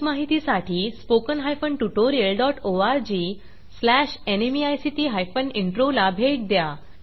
अधिक माहितीसाठी spoken hyphen tutorial dot ORG slash NMEICT hyphen intro ला भेट द्या